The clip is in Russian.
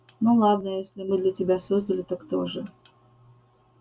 ну ладно если не мы тебя создали то кто же